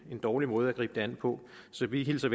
dårlig måde at gribe det an på så vi hilser